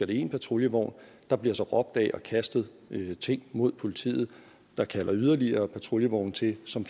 det én patruljevogn der bliver så råbt ad og kastet ting mod politiet der kalder yderligere patruljevogne til som